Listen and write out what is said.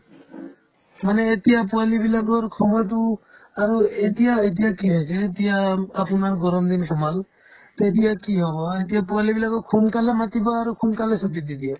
মানে এতিয়া পোৱালিবিলাকৰ সময়তো আৰু এতিয়া এতিয়া কি হৈছে এতিয়া উম আপোনাৰ ঘৰত গৰম দিন সোমালো to এতিয়া কি হয় এতিয়া পোৱালিবিলাকক সোনকালে মাতিব আৰু সোনকালে ছুটী দি দিয়ে